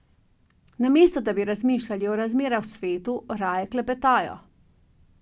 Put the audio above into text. Namesto, da bi razmišljali o razmerah v svetu, raje klepetajo.